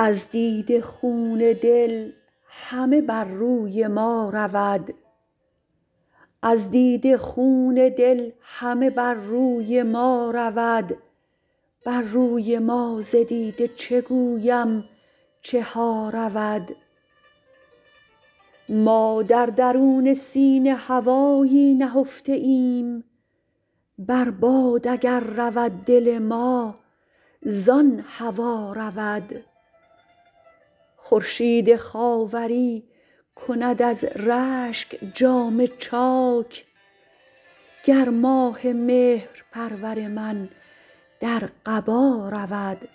از دیده خون دل همه بر روی ما رود بر روی ما ز دیده چه گویم چه ها رود ما در درون سینه هوایی نهفته ایم بر باد اگر رود دل ما زان هوا رود خورشید خاوری کند از رشک جامه چاک گر ماه مهرپرور من در قبا رود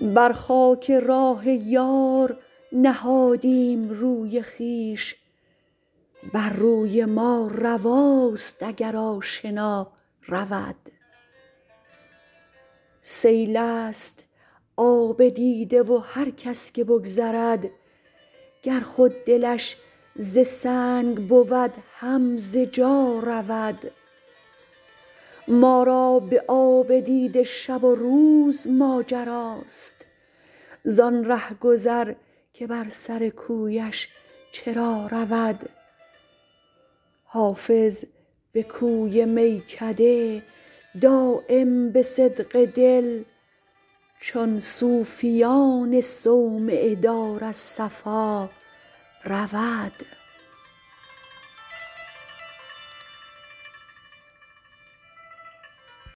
بر خاک راه یار نهادیم روی خویش بر روی ما رواست اگر آشنا رود سیل است آب دیده و هر کس که بگذرد گر خود دلش ز سنگ بود هم ز جا رود ما را به آب دیده شب و روز ماجراست زان رهگذر که بر سر کویش چرا رود حافظ به کوی میکده دایم به صدق دل چون صوفیان صومعه دار از صفا رود